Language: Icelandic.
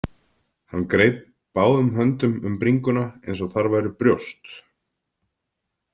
Hann greip báðum höndum um bringuna eins og þar væru brjóst.